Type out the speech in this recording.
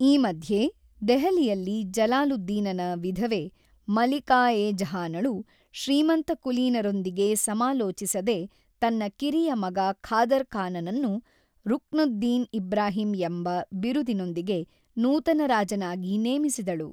ಈ ಮಧ್ಯೆ, ದೆಹಲಿಯಲ್ಲಿ ಜಲಾಲುದ್ದೀನನ ವಿಧವೆ ಮಲಿಕಾ-ಇ-ಜಹಾನಳು ಶ್ರೀಮಂತಕುಲೀನರೊಂದಿಗೆ ಸಮಾಲೋಚಿಸದೇ ತನ್ನ ಕಿರಿಯ ಮಗ ಖಾದರ್ ಖಾನ್‌ನನ್ನು ರುಕ್ನುದ್ದೀನ್ ಇಬ್ರಾಹಿಂ ಎಂಬ ಬಿರುದಿನೊಂದಿಗೆ ನೂತನ ರಾಜನಾಗಿ ನೇಮಿಸಿದಳು.